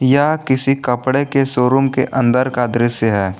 यह किसी कपड़े के शोरूम के अंदर का दृश्य है।